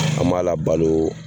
An m'a labalo.